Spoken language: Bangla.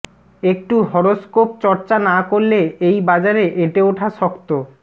একটু হরোস্কোপ চর্চা না করলে এই বাজারে এঁটে ওঠা শক্ত